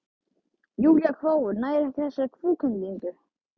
Júlía hváir, nær ekki þessari kúvendingu.